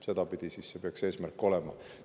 Sedapidi see eesmärk peaks olema.